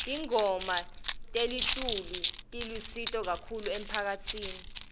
tangoma telitulu tilusito kahulu emphakatsini